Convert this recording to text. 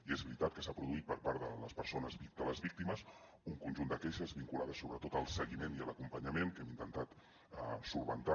i és veritat que s’ha produït per part de les persones de les víctimes un conjunt de queixes vinculades sobretot al seguiment i a l’acompanyament que hem intentat solucionar